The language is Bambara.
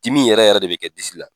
Dimi yɛrɛ yɛrɛ de bɛ kɛ disi la.